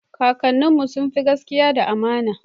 kakanin mu sunfi gaskia da amana